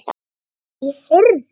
Nei, heyrðu.